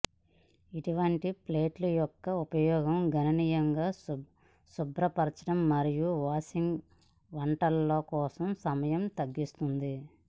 ఇటువంటి ప్లేట్లు యొక్క ఉపయోగం గణనీయంగా శుభ్రపరచడం మరియు వాషింగ్ వంటలలో కోసం సమయం తగ్గిస్తుంది